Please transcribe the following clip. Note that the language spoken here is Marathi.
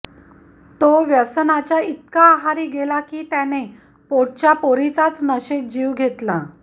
तो व्यसनाच्या इतका आहारी गेला की त्याने पोटच्या पोरीचाच नशेत जीव घेतला